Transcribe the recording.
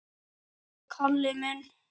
Elsku Kalli minn!